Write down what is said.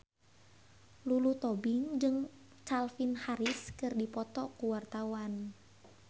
Lulu Tobing jeung Calvin Harris keur dipoto ku wartawan